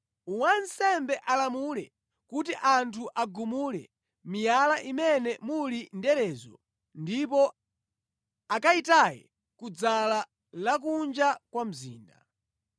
wansembe alamule kuti anthu agumule miyala imene muli nderezo ndipo akayitaye kudzala la kunja kwa mzinda.